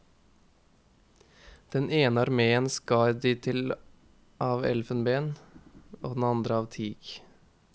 Den ene arméen skar de til av elfenben, den andre av teak.